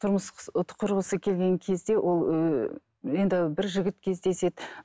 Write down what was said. тұрмыс құрғысы келген кезде ол ыыы енді бір жігіт кездеседі